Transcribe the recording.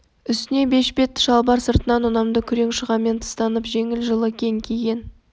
үстіне бешпет шалбар сыртынан ұнамды күрең шұғамен тыстатып жеңіл жылы кең киген